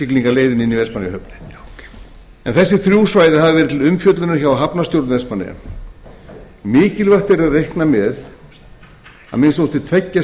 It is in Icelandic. innsiglingaleiðinni inn í vestmannaeyjahöfn en þessi þrjú svæði hafa verið til umfjöllunar hjá hafnarstjórn vestmannaeyja mikilvægt er að reikna með að minnsta kosti tveggja